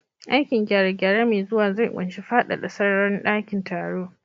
Aikin gyare-gyare mai zuwa zai ƙunshi faɗaɗa sararin dakin taro.